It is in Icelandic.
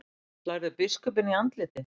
Slærðu biskupinn í andlitið?